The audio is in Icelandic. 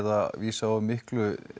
að vísa of miklu